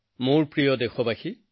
মোৰ প্ৰিয় দেশবাসী